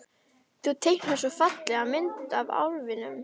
Þú teiknaðir svo fallega mynd af álfinum.